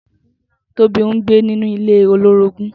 Tobi n gbé ninú ilé ólórógùn